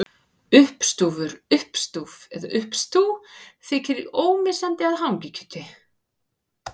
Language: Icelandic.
Uppstúfur, uppstúf eða uppstú þykir ómissandi með hangikjöti.